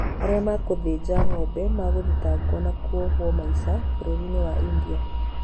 Arĩa megũthĩnja ng'ombe magũthitangwo na kũohwo maisha bũrũri-inĩ wa India